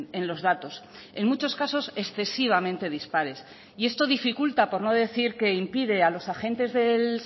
en los datos en muchos casos excesivamente dispares y esto dificulta por no decir que impide a los agentes del